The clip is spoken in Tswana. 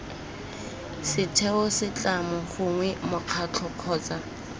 setheo setlamo gongwe mokgatlho kgotsa